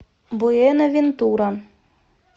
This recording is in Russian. буэнавентура